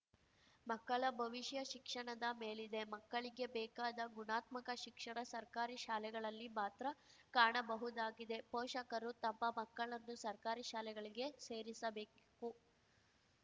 ಮಕ್ಕಳ ಭವಿಷ್ಯ ಶಿಕ್ಷಣದ ಮೇಲಿದೆ ಮಕ್ಕಳಿಗೆ ಬೇಕಾದ ಗುಣಾತ್ಮಕ ಶಿಕ್ಷಣ ಸರ್ಕಾರಿ ಶಾಲೆಗಳಲ್ಲಿ ಮಾತ್ರ ಕಾಣಬಹುದಾಗಿದೆ ಪೋಷಕರು ತಮ್ಮ ಮಕ್ಕಳನ್ನು ಸರ್ಕಾರಿ ಶಾಲೆಗಳಿಗೆ ಸೇರಿಸಬೇಕು